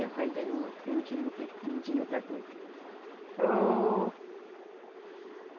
E rói de novo, porque não tinha o que, nao tinha outra coisa.